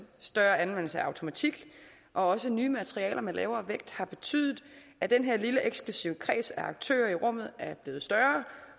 større anvendelse af automatik og også nye materialer med lavere vægt har betydet at den her lille eksklusiv kreds af aktører i rummet er blevet større